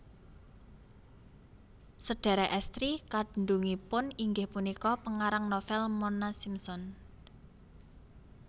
Sedhèrèk èstri kandhungipun inggih punika pengarang novel Mona Simpson